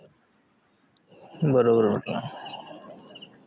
बरोबर बोलतोय